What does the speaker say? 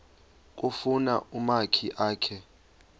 kufuna umakhi akhe